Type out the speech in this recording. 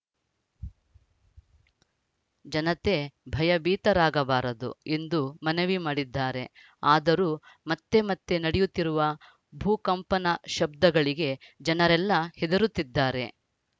ಜನತೆ ಭಯಭೀತರಾಗಬಾರದು ಎಂದು ಮನವಿ ಮಾಡಿದ್ದಾರೆ ಆದರೂ ಮತ್ತೆ ಮತ್ತೆ ನಡೆಯುತ್ತಿರುವ ಭೂಕಂಪನ ಶಬ್ಧಗಳಿಗೆ ಜನರೆಲ್ಲ ಹೆದರುತ್ತಿದ್ದಾರೆ